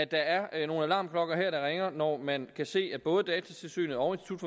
der er nogle alarmklokker der ringer når man kan se at både datatilsynet og